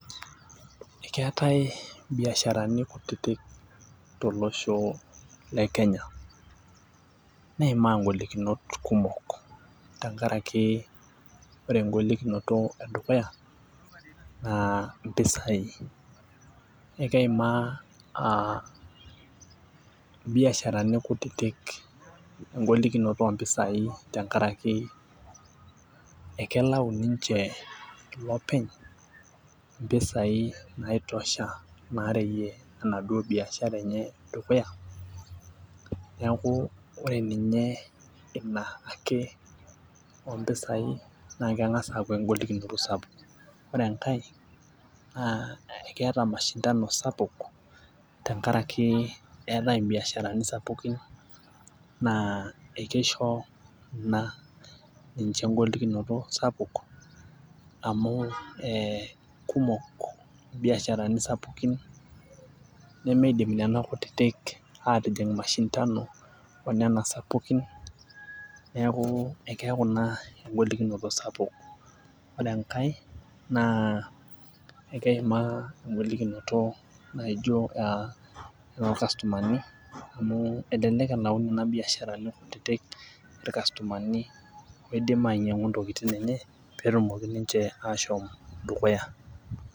Ekeetae ibiasharani kutitik, tolosho le kenya. neimaa ng'olikunot kumok tenkaraki ore egolikinoto edukuya naa mpisai. ekeimaa aa biasharani kutitik, egolikinoto oompisai te nkaraki ekelau ninche lopeny. mpisai naitosha naareyie. enaduoo biashara enye dukuya. neeku ore ninye Ina, ake oompisai naa keng'as aaku egolikinoto sapuk. ore enkae, naa keeta mashindano sapuk. tenkaraki meetae ibiasharani sapukin. naa ekeisho na ninche egolikinoto sapuk amu ee kumok biasharani sapukin. nemeidim Nena kutitik aatijing mashindano onena sapukin. neeku ekeeku Ina egolikinoto sapuk. ore enkae naa ekeimaa egolikinoto naijo aa toorkastumani melelek elau Nena biasharani kutitik ilkastomani oidim ainyiang'u ntokitin enye pee etumoki ninche ashom dukuya.